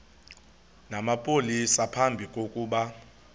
namapolisa phambi kokuba